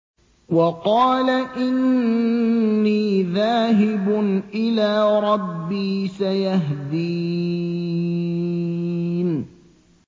وَقَالَ إِنِّي ذَاهِبٌ إِلَىٰ رَبِّي سَيَهْدِينِ